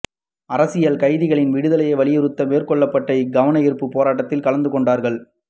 அரசியல் கைதிகளின் விடுதலையை வலியுறுத்தி மேற்கொள்ளப்பட்ட இக் கவனயீர்ப்பு போராட்டத்தில் கலந்துகொண்டவர்கள்